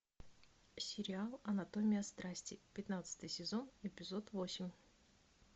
сериал анатомия страсти пятнадцатый сезон эпизод восемь